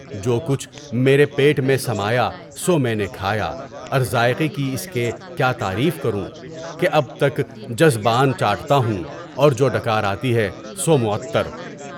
جو کچھ میرے پیٹ میں سمایا سو میں نے کھایا اور ذائقے کی اس کی کیا تعریف کروں کہ اب تک جذبان چاپٹا ہوں اور جو ڈکار آتی ہے سو معطر۔